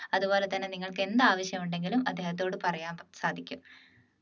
അതുപോലെ തന്നെ നിങ്ങൾക്ക് എന്താവശ്യമുണ്ടെങ്കിലും അദ്ദേഹത്തോട് പറയാൻ സാധിക്കും